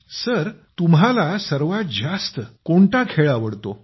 sir तुम्हाला सर्वात जास्त कोणता खेळ आवडतो